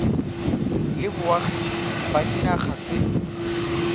le boagi ba dinaga tse